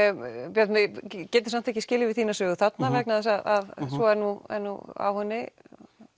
Björn við getum samt ekki skilið við þína sögu þarna vegna þess að svo er nú á henni